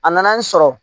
A nana n sɔrɔ